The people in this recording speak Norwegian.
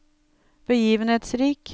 begivenhetsrik